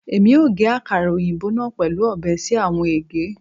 Emi o ge akara oyinbo naa pẹlu ọbẹ si awọn ege